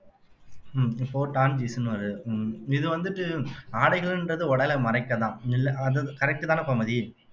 உம் இப்போ torn jeans ன்னு வாருது உம் இது வந்துட்டு ஆடைகள்ன்றது உடலை மறைக்கத்தான் இல்லை அது correct தானே கோமதி